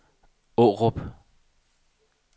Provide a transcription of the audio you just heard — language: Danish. Aarup